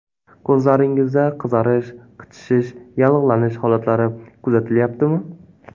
Ko‘zlaringizda qizarish, qichishish, yallig‘lanish holatlari kuzatilyaptimi?